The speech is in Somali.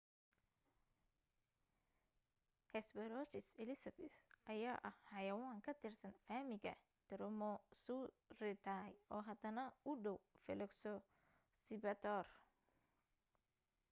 hesperonychus elizabethae ayaa ah xayawaan ka tirsan faamilka dromaeosauridae oo hadana u dhaw velociraptor